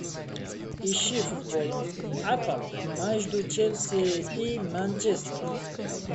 ищи футбол апл между челси и манчестером